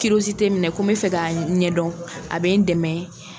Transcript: n ko n bɛ fɛ k'a ɲɛdɔn, a bɛ n dɛmɛ.